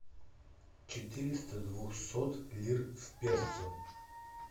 четыреста двухсот лир в песо